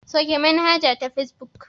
Sauke manhaja ta fesbuk.